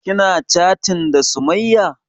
Kina chatin da sumayya?